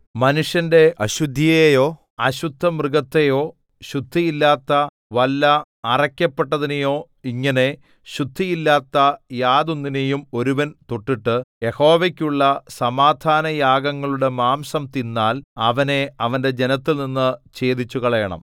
മനുഷ്യന്റെ അശുദ്ധിയെയോ അശുദ്ധമൃഗത്തെയോ ശുദ്ധിയില്ലാത്ത വല്ല അറയ്ക്കപ്പെട്ടതിനെയോ ഇങ്ങനെ ശുദ്ധിയില്ലാത്ത യാതൊന്നിനെയും ഒരുവൻ തൊട്ടിട്ടു യഹോവയ്ക്കുള്ള സമാധാനയാഗങ്ങളുടെ മാംസം തിന്നാൽ അവനെ അവന്റെ ജനത്തിൽനിന്നു ഛേദിച്ചുകളയണം